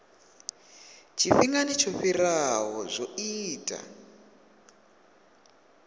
tshifhingani tsho fhiraho zwo ita